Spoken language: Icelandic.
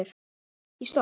Ég stopp